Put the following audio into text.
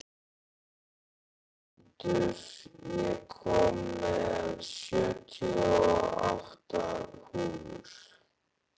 Arnmundur, ég kom með sjötíu og átta húfur!